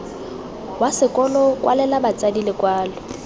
wa sekolo kwalela batsadi lekwalo